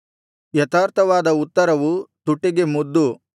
ಯಥಾರ್ಥವಾದ ಉತ್ತರವು ತುಟಿಗೆ ಮುದ್ದು